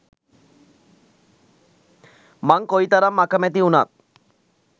මං කොයි කරම් අකැමති වුනත්